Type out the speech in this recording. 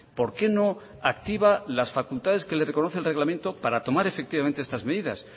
por qué no activa las facultades que le reconoce el reglamento para tomar efectivas estas medidas